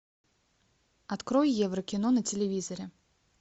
открой евро кино на телевизоре